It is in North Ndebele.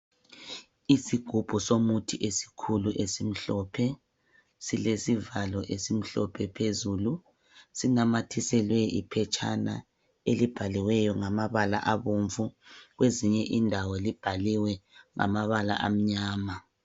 Isigubhu somuthi esikhulu esimhlophe. Silesivalo esimhlophe phezulu. Sinamathiselwe iphetshana elibhaliweyo ngamabala abomvu kwezinye indawo libhaliwe ngamabala amnyama.